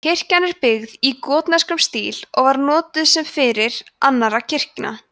kirkjan er byggð í gotneskum stíl og var notuð sem fyrir annarra kirkna